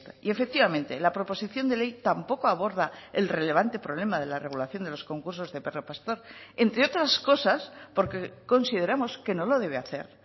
y efectivamente la proposición de ley tampoco aborda el relevante problema de la regulación de los concursos de perro pastor entre otras cosas porque consideramos que no lo debe hacer